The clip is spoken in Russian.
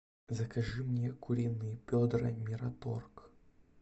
закажи мне куриные бедра мираторг